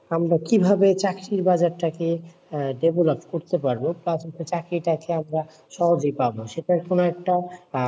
আমরা কিভাবে চাকরির বাজারটাকে develop করতে পারব, চাকরি টা কে আমরা সহজেই পাবো, সেটার জন্য একটা,